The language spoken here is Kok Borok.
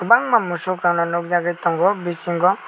mangna musuk kana nug jagui tongo bisingo.